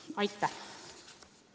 Aitäh!